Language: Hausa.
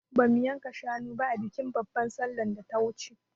Ba mu yanka shanu ba a bikin babar sallan da ta wuce